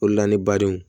O de la ne badenw